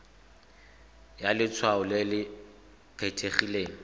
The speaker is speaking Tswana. ya letshwao le le kgethegileng